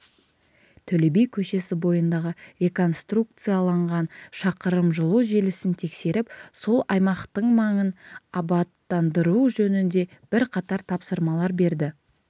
төле би көшесі бойындағы реконструкцияланған шақырымжылу желісін тексеріп сол аймақтыңмаңын абаттандыру жөнінде бірқатар тапсырмалар берді